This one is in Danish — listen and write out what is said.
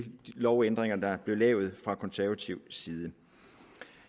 lovændringer der blev lavet fra konservativ side